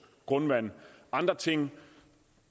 grundvand og andre ting